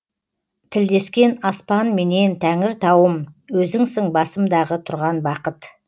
тілдескен аспанменен тәңіртауым өзіңсің басымдағы тұрған бақыт